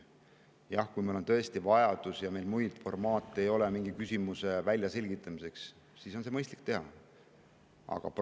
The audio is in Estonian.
Jah, kui meil on tõesti vajadus millegi väljaselgitamiseks ja muid formaate ei ole, siis on mõistlik seda teha.